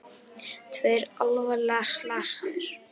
Tveir alvarlega slasaðir